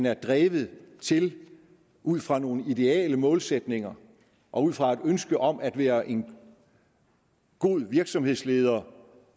er drevet til ud fra nogle ideale målsætninger og ud fra et ønske om at være en god virksomhedsleder